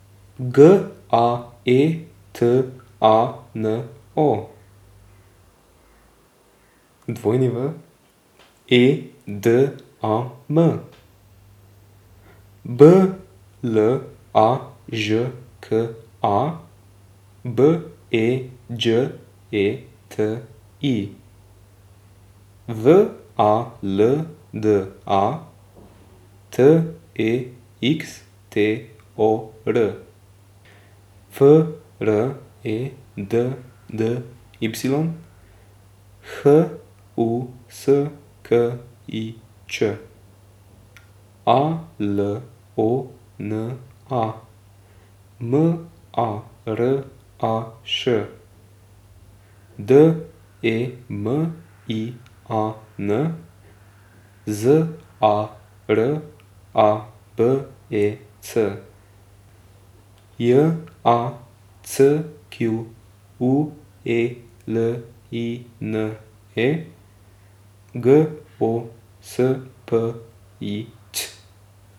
G A E T A N O, W E D A M; B L A Ž K A, B E Đ E T I; V A L D A, T E X T O R; F R E D D Y, H U S K I Č; A L O N A, M A R A Š; D E M I A N, Z A R A B E C; J A C Q U E L I N E, G O S P I Ć.